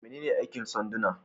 Menene aikin sanduna?